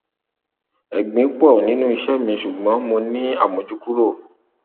ẹgbin pọ nínú iṣẹ mi ṣùgbọn mo ní àmójúkúrò